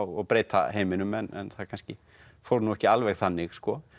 og breyta heiminum en það kannski fór nú ekki alveg þannig